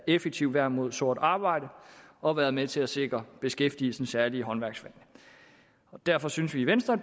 effektivt værn mod sort arbejde og har været med til at sikre beskæftigelsen særligt i håndværksfagene derfor synes vi i venstre